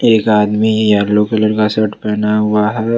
एक आदमी yellow colour का शर्ट पहना हुआ है।